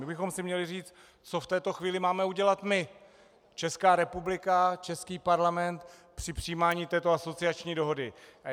My bychom si měli říct, co v této chvíli máme udělat my, Česká republika, český Parlament, při přijímání této asociační dohody.